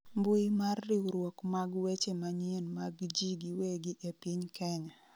mbui mar riwruok mag weche manyien mag ji giwegi e piny Kenya